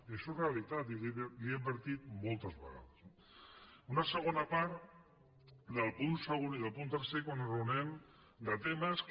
i això és realitat i li ho he advertit moltes vegades no una segona part del punt segon i del punt tercer quan enraonem de temes que